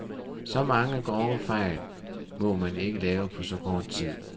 Så mange grove fejl må man ikke lave på så kort tid.